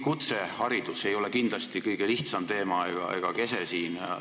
Kutseharidus ei ole kindlasti kõige lihtsam teema ega ka kese siin.